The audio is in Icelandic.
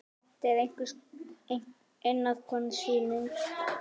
Þetta er einnar konu sýning.